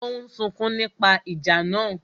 Ó ń sunkún nípa ìjà náà